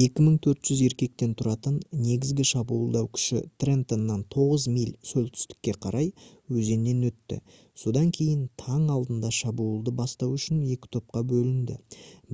2400 еркектен тұратын негізгі шабуылдау күші трентоннан 9 миль солтүстікке қарай өзеннен өтті содан кейін таң алдында шабуылды бастау үшін 2 топқа бөлінді